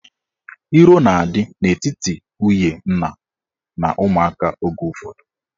Iro na-adị n'etiti nwunye nna na ụmụaka oge ụfọdụ.